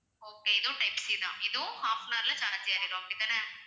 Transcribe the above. okay இதுவும் type C தான் இதுவும் half an hour ல charge ஏறிடும் அப்படிதானே